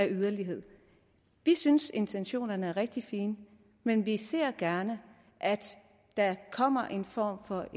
yderlighed vi synes intentionerne er rigtig fine men vi ser gerne at der kommer en form for